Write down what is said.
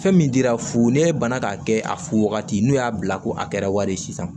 Fɛn min dira fu n'e banna k'a kɛ a fu wagati n'u y'a bila ko a kɛra wari ye sisan